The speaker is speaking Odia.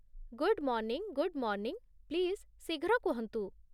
Good morning good morning, please ଶୀଘ୍ର କୁହନ୍ତୁ।